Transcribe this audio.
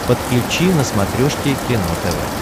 подключи на смотрешке кино тв